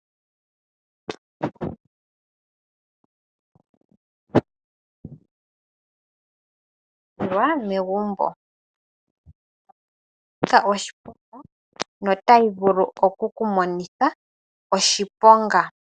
Aantu mboka haya sile oondjamba oshiso ohaya kala yazal omakalaganya noongaku dhayamo oshoka uuna taya pe oondjamba okunwa nenge okulya oshili shanika oshiponga noonkondo oshoka ondjamba otayi vulu okukudhipaga nenge yiku ekelehi kokule.